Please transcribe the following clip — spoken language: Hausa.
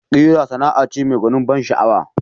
Ƙira Sana'a ce mai gwanin ban sha'awa